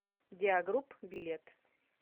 диагрупп билет